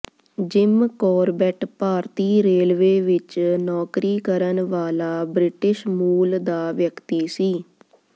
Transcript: gym Corbett ਭਾਰਤੀ railway ਵਿਚ ਨੌਕਰੀ ਕਰਨ ਵਾਲਾ ਬ੍ਰਿਟਿਸ਼ ਮੂਲ ਦਾ ਵਿਅਕਤੀ ਸੀ